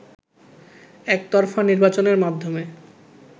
একতরফা নির্বাচনের মাধ্যমে